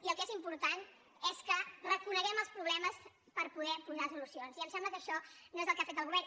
i el que és important és que reconeguem els problemes per poder hi posar solucions i em sembla que això no és el que ha fet el govern